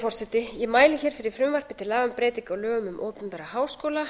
breytingum í frumvarpinu er lögð til sú breyting að skrásetningargjald í háskóla